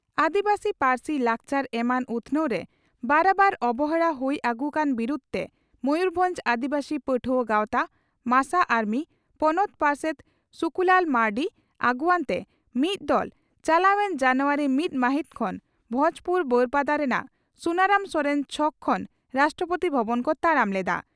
ᱟᱹᱫᱤᱵᱟᱹᱥᱤ ᱯᱟᱹᱨᱥᱤ ᱞᱟᱠᱪᱟᱨ ᱮᱢᱟᱱ ᱩᱛᱷᱱᱟᱹᱣ ᱨᱮ ᱵᱟᱨᱟᱵᱟᱨ ᱚᱵᱚᱦᱮᱲᱟ ᱦᱩᱭ ᱟᱹᱜᱩ ᱠᱟᱱ ᱵᱤᱨᱩᱫᱽᱛᱮ ᱢᱚᱭᱩᱨᱵᱷᱚᱸᱡᱽ ᱟᱹᱫᱤᱵᱟᱹᱥᱤ ᱯᱟᱹᱴᱷᱩᱟᱣᱟᱹ ᱜᱟᱣᱛᱟ (ᱢᱟᱥᱟ ᱟᱨᱢᱤ) ᱯᱚᱱᱚᱛ ᱯᱟᱨᱥᱮᱛ ᱥᱩᱠᱩᱞᱟᱞᱟ ᱢᱟᱨᱱᱰᱤ ᱟᱹᱜᱩᱣᱟᱹᱱ ᱛᱮ ᱢᱤᱫ ᱫᱚᱞ ᱪᱟᱞᱟᱣ ᱮᱱ ᱡᱟᱱᱩᱣᱟᱨᱤ ᱢᱤᱛ ᱢᱟᱦᱤᱛ ᱠᱷᱚᱱ ᱵᱷᱚᱸᱡᱽᱯᱩᱨ (ᱵᱟᱹᱨᱯᱟᱫᱟ) ᱨᱮᱱᱟᱜ ᱥᱩᱱᱟᱨᱟᱢ ᱥᱚᱨᱮᱱ ᱪᱷᱚᱠ ᱠᱷᱚᱱ ᱨᱟᱥᱴᱨᱚᱯᱳᱛᱤ ᱵᱷᱚᱵᱚᱱ ᱠᱚ ᱛᱟᱲᱟᱢ ᱞᱮᱫᱼᱟ ᱾